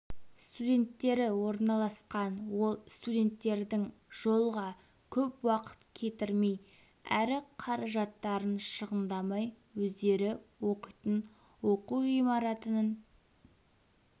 студенттері орналасқан ол студенттердің жолға көп уақыт кетірмей әрі қаражаттарын шығындамай өздері оқитын оқу ғимаратының